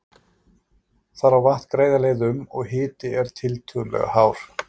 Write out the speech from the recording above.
Þar á vatn greiða leið um, og hiti er tiltölulega hár.